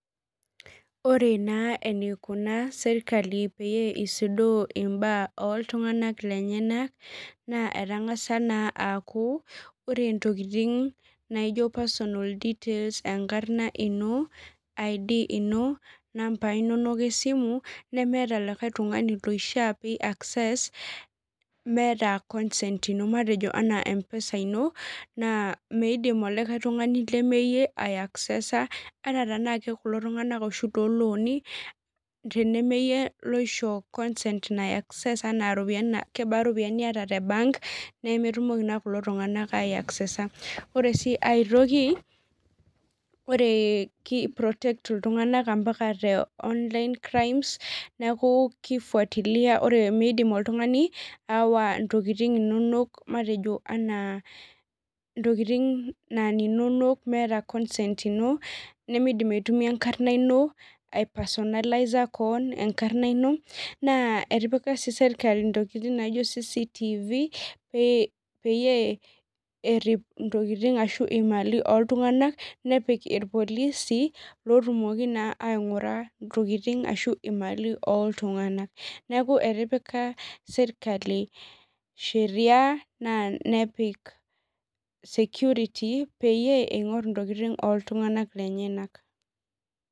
Ore naa enikunaa serkali pee isudoo imbaa oltung'anak lenyanak, naa etang'asa naa aku, ore ntokiting naijo personal details, enkarna ino, ID ino, nambai nonok esimu, nemeeta likae tung'ani loishaa pi access, meeta consent ino. Matejo anaa M-PESA ino, naa meidim olikae tung'ani lemeyie, ai aksesa, anaa tanake kulo tung'anak oshi lolooni, tenemeyie loisho consent nai access enaa ropiyiani kebaa ropiyiani niata te bank, nemetumoki naa kulo tung'anak ai aksesa. Ore si ai toki, ore ki protect iltung'anak ampaka te online crimes, neeku ki fuatilia ore midim oltung'ani, aawa intokiting inonok matejo enaa intokiting naa ininonok meeta consent ino, nimidim aitumia enkarna ino, ai personalizer keon enkarna ino, naa etipika si serkali intokiting naijo CCTv, peyie errip intokiting ashu imali oltung'anak, nepik irpolisi, lotumoki naa aing'ura intokiting ashu imali oltung'anak. Neeku etipika sirkali sheria naa nepik security, peyie ing'or intokiting oltung'anak lenyanak.